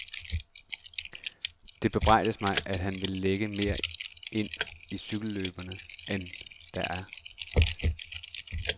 Det bebrejdes mig, at han vil lægge mere ind i cykelløbene end der er.